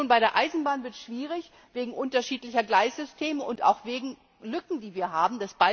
Aber schon bei der Eisenbahn wird es schwierig, wegen unterschiedlicher Gleissysteme und auch wegen Lücken, die wir haben.